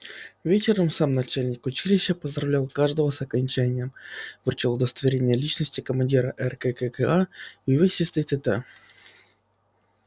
вечером сам начальник училища поздравлял каждого с окончанием вручал удостоверение личности командира ркка и увесистый тт